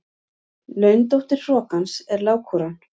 Laundóttir hrokans er lágkúran.